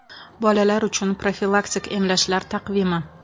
Bolalar uchun profilaktik emlashlar taqvimi.